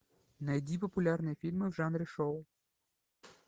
найди популярные фильмы в жанре шоу